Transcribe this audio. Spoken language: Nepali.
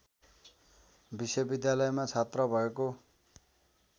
विश्वविद्यालयमा छात्र भएको